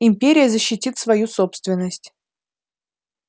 империя защитит свою собственность